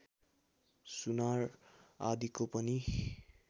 सुनार आदिको पनि